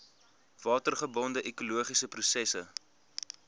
watergebonde ekologiese prosesse